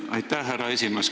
Aitäh, härra esimees!